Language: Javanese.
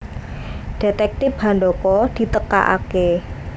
Detektip Handaka ditekakaké